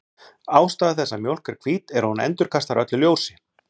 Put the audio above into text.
Ástæða þess að mjólk er hvít er að hún endurkastar öllu ljósi.